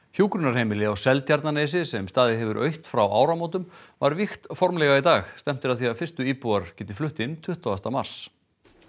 hjúkrunarheimili á Seltjarnarnesi sem staðið hefur autt frá áramótum var vígt formlega í dag stefnt er að því að fyrstu íbúar geti flutt inn tuttugasta mars